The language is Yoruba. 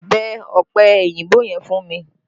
Bẹ ọ̀pẹ òyìnbó yẹn fún mi!